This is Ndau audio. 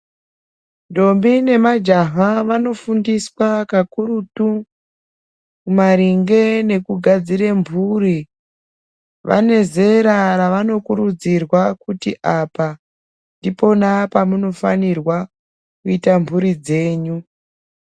Ndombi nemajaha vanofundiswa kakurutu, maringe nekudadzire mhuri. Vanezera ravanokurudzirwa kuti apa ndipona pamunofanirwa kuita mhuri dzenyu.